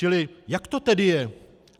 Čili jak to tedy je?